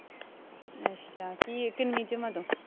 ਅੱਛਾ ਕੀ ਕਿੰਨਵੀ ਚ ਵਾ ਤੂੰ